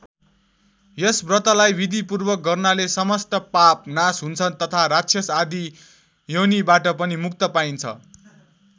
यस व्रतलाई विधिपूर्वक गर्नाले समस्त पाप नाश हुन्छन् तथा राक्षस आदि योनिबाट पनि मुक्ति पाइन्छ।